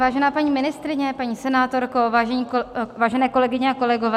Vážená paní ministryně, paní senátorko, vážené kolegyně a kolegové.